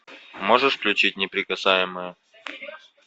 можешь включить неприкасаемые